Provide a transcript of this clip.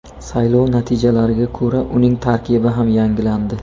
Saylov natijalariga ko‘ra uning tarkibi ham yangilandi.